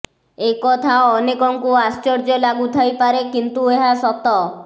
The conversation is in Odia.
ଏକଥା ଅନେକଙ୍କୁ ଆଶ୍ଚର୍ଯ୍ୟ ଲାଗୁ ଥାଇପାରେ କିନ୍ତୁ ଏହା ସତ